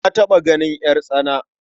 Na taɓa ganin ƴartsana.